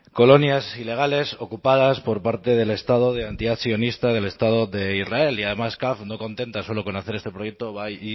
colonias ilegales ocupadas por parte del estado de sionista del estado de israel y además caf no contenta solo con hacer este proyecto va y